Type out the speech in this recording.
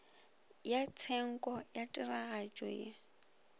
ya tshenko ya tiragatšo e